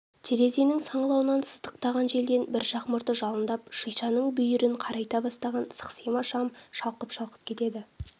терезенің саңлауынан сыздықтаған желден бір жақ мұрты жалындап шишаның бүйірін қарайта бастаған сықсима шам шалқып-шалқып кетеді